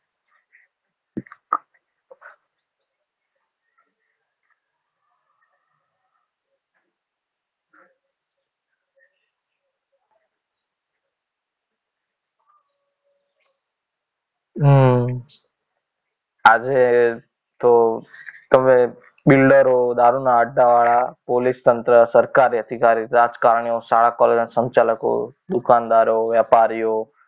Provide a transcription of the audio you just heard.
હમ આજે તો તમે બિલ્ડરો, દારૂના વાળા, પોલીસ તંત્ર, સરકારી અધિકારી, રાજકારણીઓ, શાળાઓના સંચાલકો, દુકાનદારો, વેપારીઓ,